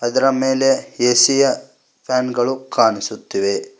ಇದರ ಮೇಲೆ ಎ_ಸಿ ಯ ಫ್ಯಾನ್ ಗಳು ಕಾಣಿಸುತ್ತಿವೆ.